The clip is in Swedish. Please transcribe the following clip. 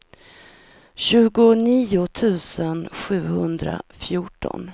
tjugonio tusen sjuhundrafjorton